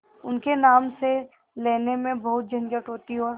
उनके नाम से लेने में बहुत झंझट होती और